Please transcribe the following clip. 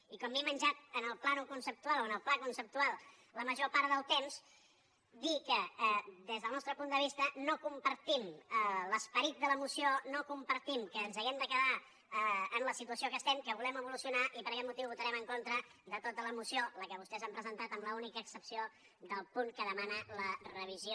i com m’he menjat amb el pla conceptual la major part del temps dir que des del nostre punt de vista no com·partim l’esperit de la moció no compartim que ens hàgim de quedar en la situació que estem que volem evolucionar i per aquest motiu votarem en contra de tota la moció la que vostès han presentat amb l’única excepció del punt que demana la revisió